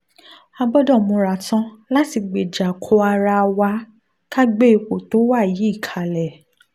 a gbọ́dọ̀ múra tán láti gbéjà ko ara wa ká gbé ipò tó wà yìí kalẹ̀